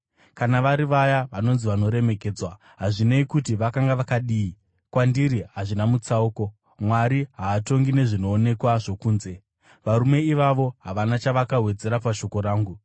Kana vari vaya vanonzi vanoremekedzwa, hazvinei kuti vakanga vakadii, kwandiri hazvina mutsauko; Mwari haatongi nezvinoonekwa zvokunze, varume ivavo havana chavakawedzera pashoko rangu.